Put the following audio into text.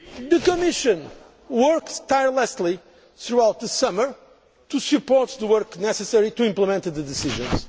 The Commission worked tirelessly through the summer to support the work necessary to implement the decisions.